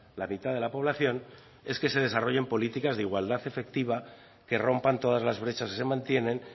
la mitad de la población es que se desarrollen políticas de igualdad efectiva que rompan todas las brechas que se mantienen